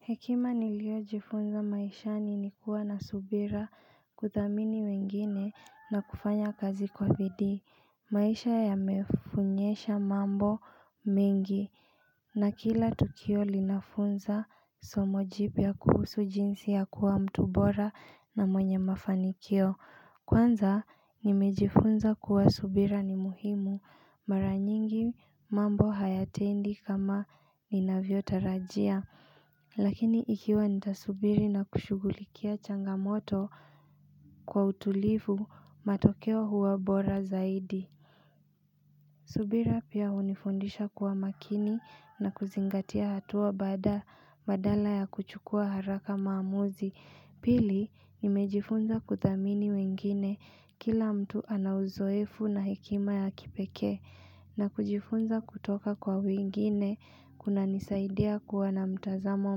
Hekima niliojifunza maishani ni kuwa na subira kuthamini wengine na kufanya kazi kwa vidi. Maisha ya mefunyesha mambo mingi na kila tukio linafunza somojipia kuhusu jinsi ya kuwa mtu bora na mwenye mafanikio. Kwanza nimejifunza kuwa subira ni muhimu mara nyingi mambo hayatendi kama ni navyo tarajia. Lakini ikiwa nitasubiri na kushugulikia changamoto kwa utulifu matokeo huwa bora zaidi subira pia unifundisha kuwa makini na kuzingatia hatua bada badala ya kuchukua haraka maamuzi Pili nimejifunza kuthamini wengine kila mtu anauzoefu na hikima ya kipeke na kujifunza kutoka kwa wengine kuna nisaidia kuwa na mtazamo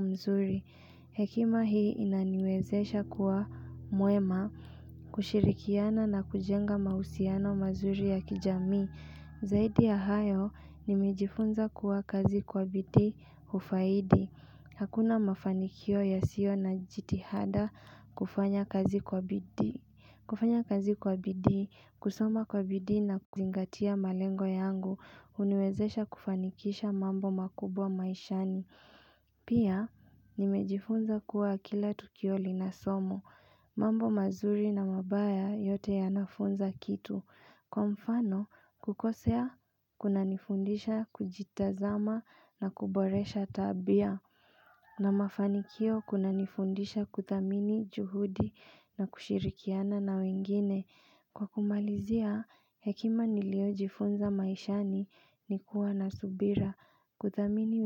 mzuri Hekima hii inaniwezesha kuwa mwema kushirikiana na kujenga mausiano mazuri ya kijami Zaidi ya hayo nimijifunza kuwa kazi kwa bidii ufaidi hakuna mafanikio ya sio na jitihada kufanya kazi kwa bidi kufanya kazi kwa bidi, kusoma kwa bidi na kuzingatia malengo yangu uniwezesha kufanikisha mambo makubwa maishani Pia nimejifunza kuwa kila tukioli na somo. Mambo mazuri na mabaya yote ya nafunza kitu. Kwa mfano kukosea kuna nifundisha kujitazama na kuboresha tabia. Na mafanikio kuna nifundisha kutamini juhudi na kushirikiana na wengine Kwa kumalizia hekima niliojifunza maishani ni kuwa na subira kudhamini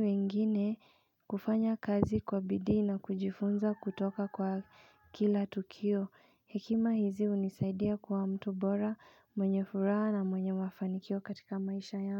wengine kufanya kazi kwa bidii na kujifunza kutoka kwa kila tukio hekima hizi unisaidia kwa mtu bora mwenye furaha na mwenye wafanikio katika maisha ya.